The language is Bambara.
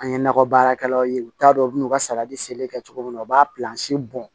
An ye nakɔ baarakɛlaw ye u t'a dɔn u bɛ n'u ka saladi seleke kɛ cogo min na u b'a bɔn